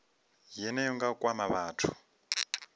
yeneyo nga u kwama vhathu